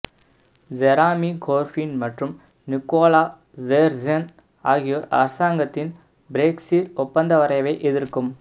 Jeremy Corbyn மற்றும் Nicola Sturgeon ஆகியோர் அரசாங்கத்தின் பிரெக்ஸிற் ஒப்பந்த வரைவை எதிர்க்கும்